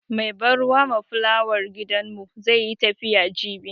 Mai ban ruwa ma fulawar gidanmu zai yi tafiya jibi.